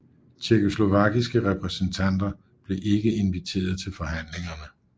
Tjekkoslovakiske repræsentanter blev ikke inviteret til forhandlingerne